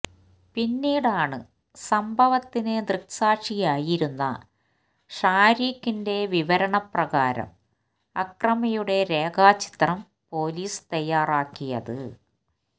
പിന്നീടാണ് സംഭവത്തിന് ദൃക്സാക്ഷിയായിരുന്ന ഷാരിഖിന്റെ വിവരണപ്രകാരം അക്രമിയുടെ രേഖാ ചിത്രം പോലീസ് തയ്യാറാക്കിയത്